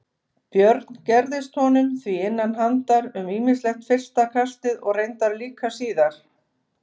Björn gerðist honum því innan handar um ýmislegt fyrsta kastið og reyndar líka síðar.